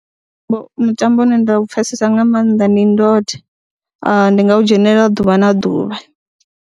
Mutambo une nda u pfhesesa nga maanḓa ndi ndode, ndi nga u dzhenelela ḓuvha na ḓuvha.